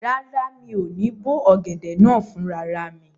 Rárá, mi ò ní bó ọ̀gẹ̀dẹ̀ náà fún rara mi